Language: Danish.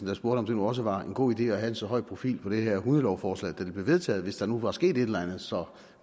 der spurgte om det nu også var en god idé at have en så høj profil på det her hundelovforslag da det blev vedtaget hvis der nu var sket et eller andet så